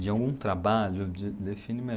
De algum trabalho, de define